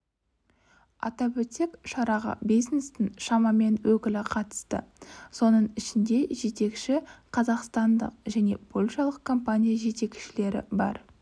атап өтсек шараға бизнестің шамамен өкілі қатысты соның ішінде жетекші қазақстандық және польшалық компания жетекшілері бар